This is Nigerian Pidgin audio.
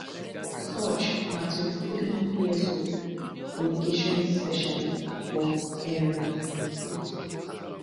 sooj na twenty-threeyearold communications specialist from um imo state